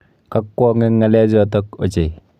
Kakwong' eng ng'alechoto ochei.